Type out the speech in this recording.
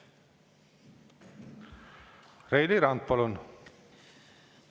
Reili Rand, palun!